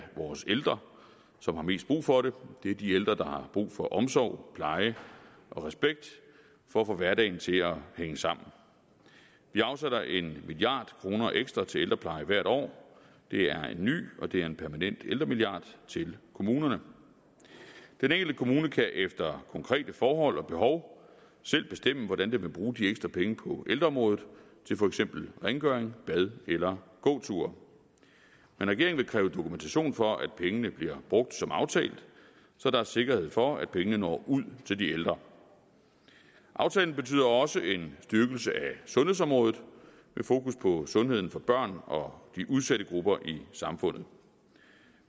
vores ældre som har mest brug for det det er de ældre der har brug for omsorg pleje og respekt for at få hverdagen til at hænge sammen vi afsætter en milliard kroner ekstra til ældrepleje hvert år det er en ny og det er en permanent ældremilliard til kommunerne den enkelte kommune kan efter konkrete forhold og behov selv bestemme hvordan den vil bruge de ekstra penge på ældreområdet til for eksempel rengøring bade eller gåture men regeringen vil kræve dokumentation for at pengene bliver brugt som aftalt så der er sikkerhed for at pengene når ud til de ældre aftalen betyder også en styrkelse af sundhedsområdet med fokus på sundheden for børn og de udsatte grupper i samfundet